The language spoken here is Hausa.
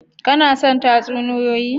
Kana son tatsuniyoyi?